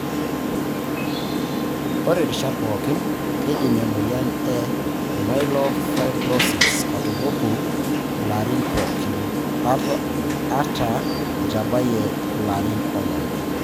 Ore rishat pokin keidim emoyian e myelofibrosis atupuku larin poki, ata itabayie larin onom.